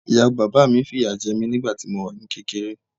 Ìyàwó bàbá mi fìyà jẹ mí nígbà tí mo wà ní kékeré.